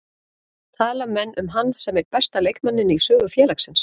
Tala menn um hann sem einn besta leikmanninn í sögu félagsins?